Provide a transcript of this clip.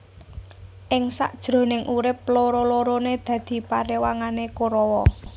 Ing sak jroning urip loro lorone dadi parewangane Korawa